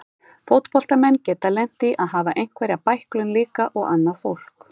Fótboltamenn geta lent í að hafa einhverja bæklun líka og annað fólk.